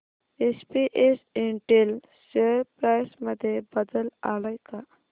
SPS Intel share price मध्ये बदल आलाय का